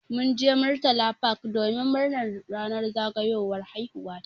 Mun je murtala park domin murnar ranar zagayowar haihuwa ta.